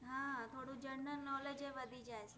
હા તોદૂ genralknowledge એ વધિ જાએ છે